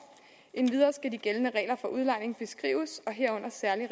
endvidere skal de gældende regler for udlejning beskrives herunder særlig